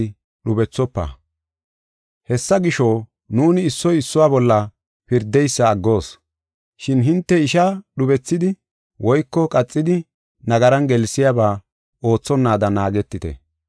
Hessa gisho, nuuni issoy issuwa bolla pirdeysa aggoos. Shin hinte ishaa dhubisidi woyko qaxidi nagaran gelsiyaba oothonnaada naagetite.